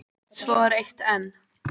Svo er eitt enn.